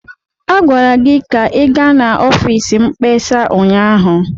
Agwara gị ka ị gaa n'ọfịs mkpesa ụnyaahụ!